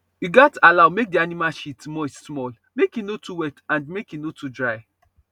you gats allow make the animal shit moist small make e no too wet and make e no too dry